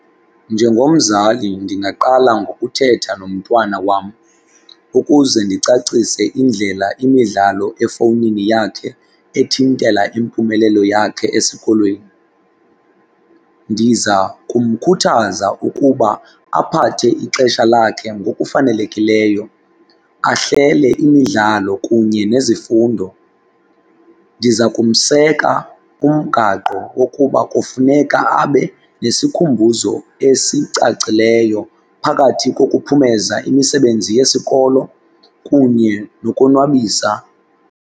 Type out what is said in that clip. Njengomzali ndingaqala ngokuthetha nomntwana wam ukuze ndicacise indlela imidlalo efowunini yakhe ethintela impumelelo yakhe esikolweni. Ndiza kumkhuthaza ukuba aphathe ixesha lakhe ngokufanelekileyo, ahlele imidlalo kunye nezifundo. Ndiza kumseka kumgaqo wokuba kufuneka abe nesikhumbuzo esicacileyo phakathi kokuphumeza imisebenzi yesikolo kunye nokonwabisa.